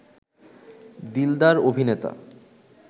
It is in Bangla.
দিলদার অভিনেতা